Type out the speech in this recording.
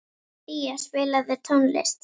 Día, spilaðu tónlist.